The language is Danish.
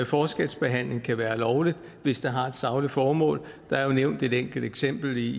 forskelsbehandling kan være lovlig hvis det har et sagligt formål der er nævnt et enkelt eksempel i